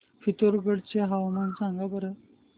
पिथोरगढ चे हवामान सांगा बरं